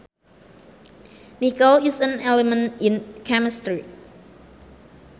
Nickel is an element in chemistry